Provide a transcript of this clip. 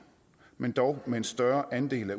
men dog med en større andel af